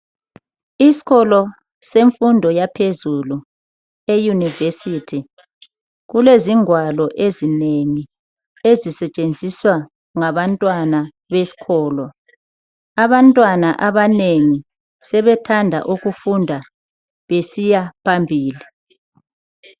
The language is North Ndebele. Isikolo semfundo yaphezulu e yunivesithi kulezingwalo ezinengi ezisetshenziswa ngabantwana besikolo. Abantwana abanengi sebethanda ukufunda besiya phambili.